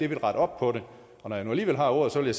vil rette op på det når jeg nu alligevel har ordet vil